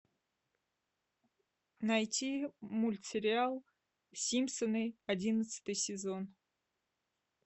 найти мультсериал симпсоны одиннадцатый сезон